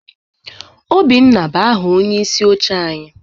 Obinna bụ aha onyeisi oche anyị.